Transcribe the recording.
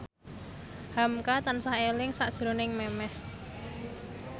hamka tansah eling sakjroning Memes